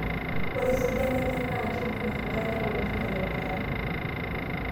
Ore esidano enye NAA kebung e nkare oleng aitobiraki